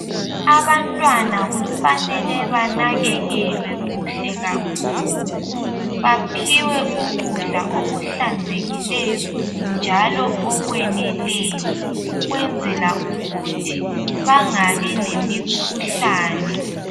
abantwana kufanele banakekelwe kuhle kakhulu baphiwe ukudla okuhlanzekileyo njalo okweneleyo ukwenzela ukuthi bangabi lemikhuhlane